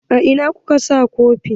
A ina kuka sa kofin?